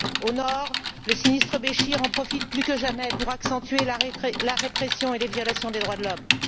Au nord, le sinistre Béchir en profite, plus que jamais, pour accentuer la répression et les violations des droits de l'homme.